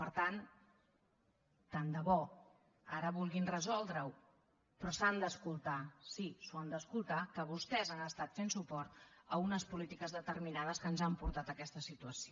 per tant tant de bo ara vulguin resoldre ho però s’han d’escoltar sí s’ho han d’escoltar que vostès han estat fent suport a unes polítiques determinades que ens han portat a aquesta situació